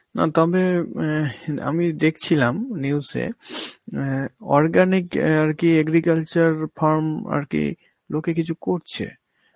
অ তবে ম্যাঁহে আমি দেখছিলাম news এ অ্যাঁ organic অ্যাঁ আর কি agriculture farm আর কি লোকে কিছু করছে,